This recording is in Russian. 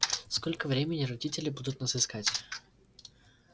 сколько времени родители будут нас искать